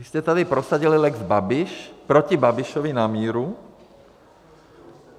Vy jste tady prosadili lex Babiš proti Babišovi na míru.